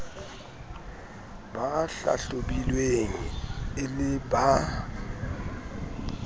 ba hlahlobilweng e le ba